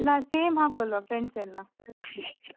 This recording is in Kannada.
same ಹಾಕೊಳ್ಳುವ friends ಎಲ್ಲ.